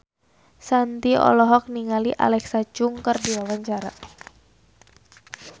Shanti olohok ningali Alexa Chung keur diwawancara